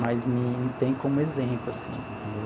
Mas me me tem como exemplo, assim, entendeu?